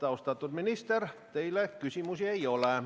Austatud minister, tundub, et teile küsimusi ei ole.